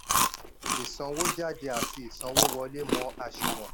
ìsanwójáde àti ìsanwówọlé mọ̀ àsùnwọ̀n.